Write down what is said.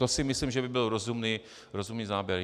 To si myslím, že by byl rozumný záměr.